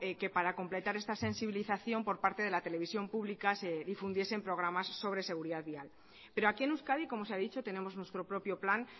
que para completar esta sensibilización por parte de la televisión pública se difundiesen programas sobre seguridad vial pero aquí en euskadi como se ha dicho tenemos nuestro propio plan